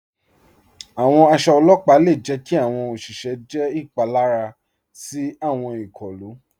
Àwọn àṣọ ọlọ́pà le jẹ̀ kí àwọn oṣìṣẹ jẹ́ ipalara sí àwọn ikọ̀lu.